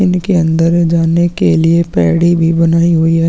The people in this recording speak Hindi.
इनके अंदर जाने के लिए भी बनाई गई है।